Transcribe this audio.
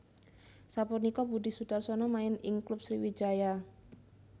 Sapunika Budi Sudarsono main ing klub Sriwijaya